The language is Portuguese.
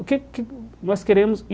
O que que nós queremos?